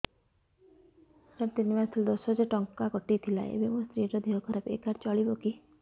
ସାର ତିନି ମାସ ତଳେ ଦଶ ହଜାର ଟଙ୍କା କଟି ଥିଲା ଏବେ ମୋ ସ୍ତ୍ରୀ ର ଦିହ ଖରାପ ଏ କାର୍ଡ ଚଳିବକି